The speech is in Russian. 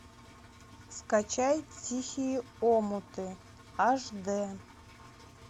скачай тихие омуты аш д